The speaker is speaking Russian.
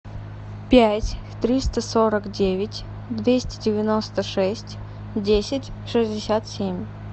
пять триста сорок девять двести девяносто шесть десять шестьдесят семь